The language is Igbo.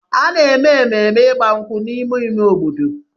A na-eme mmemme ịgba egwu n'ime ime obodo.